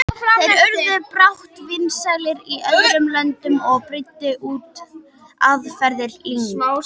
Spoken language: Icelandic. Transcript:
Þeir urðu brátt vinsælir í öðrum löndum og breiddu út aðferðir Ling.